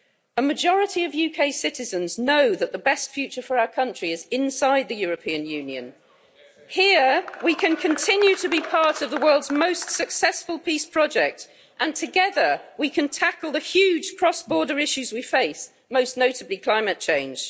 A majority of UK citizens know that the best future for our country is inside the European Union. Here we can continue to be part of the world's most successful peace project, and together we can tackle the huge cross-border issues we face, most notably climate change.